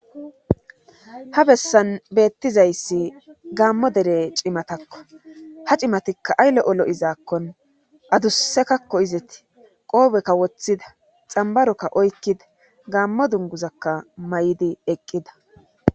Ga bessan beettizayssi gaammo dere cimatakko ha cimatikka aylle olo7izaakkon adussekakko izeti qoobekka woththida xambarokka oykkida gaammo dunguzakka may7idi eqqida.